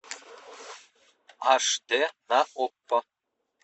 аш дэ на окко